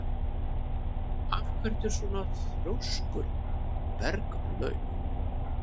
Af hverju ertu svona þrjóskur, Berglaug?